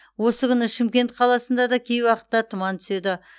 осы күні шымкент қаласында да кей уақытта тұман түседі